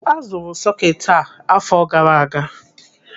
Azụrụ sọketi a àfọ̀ gara aga.